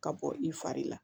Ka bɔ i fari la